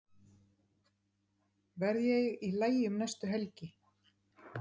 Verð ég í lagi um næstu helgi?